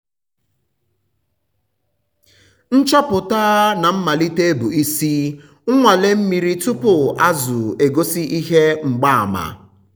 nchọpụta na mmalite bụ isi - nnwale mmiri tupu azụ egosi ihe mgbaàmà.